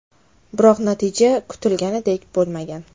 Biroq natija kutilganidek bo‘lmagan.